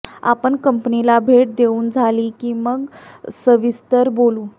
आपण कंपनीला भेट देऊन झाली की मग सविस्तर बोलू